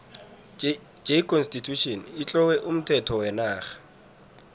j constitution itlowe umthetho wenarha